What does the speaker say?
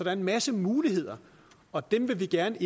er en masse muligheder og dem vil vi gerne